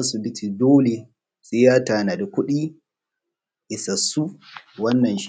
su kula sai na tanaji wannan shi ne.